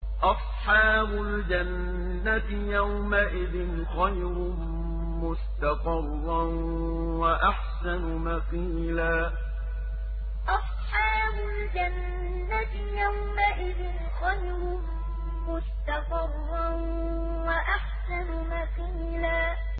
أَصْحَابُ الْجَنَّةِ يَوْمَئِذٍ خَيْرٌ مُّسْتَقَرًّا وَأَحْسَنُ مَقِيلًا أَصْحَابُ الْجَنَّةِ يَوْمَئِذٍ خَيْرٌ مُّسْتَقَرًّا وَأَحْسَنُ مَقِيلًا